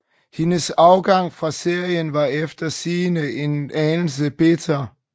Hendes afgang fra serien var efter sigende en anelse bitter